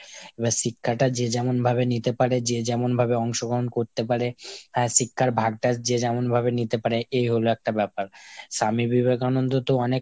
এবার শিক্ষাটা যে যেমন ভাবে নিতে পারে, যে যেমন ভাবে অংশগ্রহণ করতে পারে হ্যাঁ শিক্ষার ভাগটা যে যেমন ভাবে নিতে পারে এই হলো একটা ব্যাপার। স্বামী বিবেকানন্দ তো অনেক,